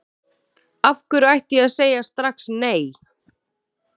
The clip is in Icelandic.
Af hverju ætti ég að segja strax nei?